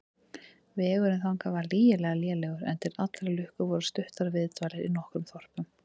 Vegurinn þangað var lygilega lélegur, en til allrar lukku voru stuttar viðdvalir í nokkrum þorpum.